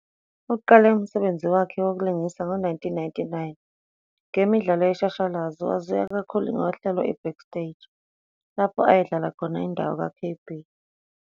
Uqale umsebenzi wakhe wokulingisa ngo-1999 ngemidlalo yeshashalazi. Waziwa kakhulu ngohlelo "iBackstage" lapho ayedlala khona indawo ka'KayBee '.